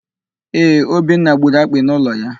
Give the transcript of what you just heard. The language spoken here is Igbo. Ee, Obinna gburu akpị n'ụlọ ya.